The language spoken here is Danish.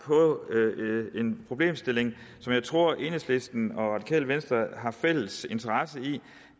en problemstilling som jeg tror at enhedslisten og radikale venstre har fælles interesse i